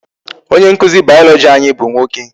Onye nkụzi biology anyị bụ nwoke.